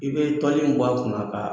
I bɛ toli bɔ a kunna kan